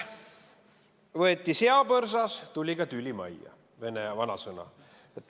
Võeti seapõrsas, tuli ka tüli majja – vene vanasõna.